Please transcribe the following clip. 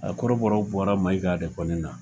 A kɔrɔbɔrɔw bɔra Maiga de kɔni na